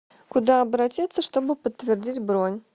куда обратиться чтобы подтвердить бронь